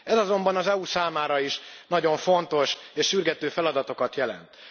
Ez azonban az EU számára is nagyon fontos, és sürgető feladatokat jelent.